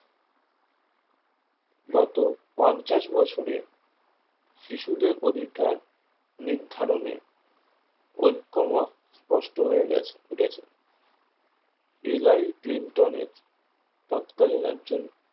গত পঞ্চাশ বছরে শিশুদের অধিকার নির্ধারণে ঐকমত স্পষ্ট হয়ে গেছে ফুটেছে কিলাই ক্লিনটনের তৎকালীন একজন